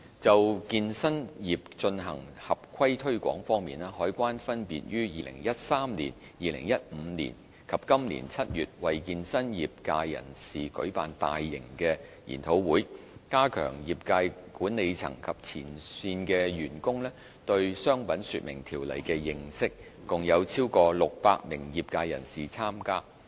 就健身業進行合規推廣方面，海關分別於2013年、2015年及今年7月為健身業界人士舉辦大型研討會，加強業界管理層及前線員工對《商品說明條例》的認識，共有超過600名業界人士參加。